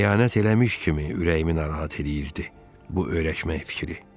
Xəyanət eləmiş kimi ürəyimi narahat eləyirdi bu öyrəşmək fikri.